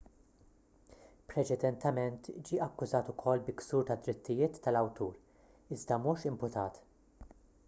preċedentement ġie akkużat ukoll bi ksur tad-drittijiet tal-awtur iżda mhux imputat